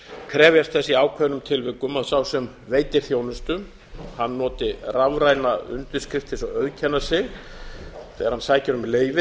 krefjast þess í ákveðnum tilvikum að sá sem veitir þjónustu noti rafræna undirskrift til að auðkenna sig þegar hann sækir um leyfi